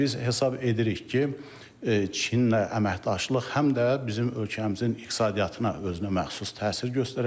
Və biz hesab edirik ki, Çinlə əməkdaşlıq həm də bizim ölkəmizin iqtisadiyyatına özünəməxsus təsir göstərəcək.